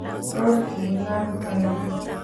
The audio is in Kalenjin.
tos ki inaamta ng'o?